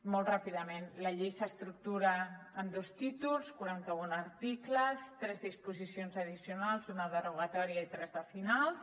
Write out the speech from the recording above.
molt ràpidament la llei s’estructura en dos títols quaranta un articles tres disposicions addicionals una de derogatòria i tres de finals